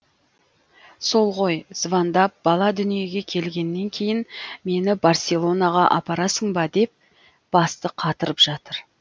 сол ғой звондап бала дүниеге келгеннен кейін мені барселонаға апарасың ба деп басты қатырып жатыр